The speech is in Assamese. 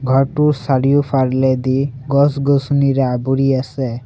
ঘৰটোৰ চাৰিওফালেদি গছ-গছনিৰে আবোৰি আছে।